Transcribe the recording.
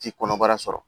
Ti kɔnɔbara sɔrɔ